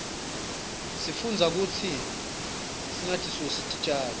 sifundza kutsi singatisusi titjalo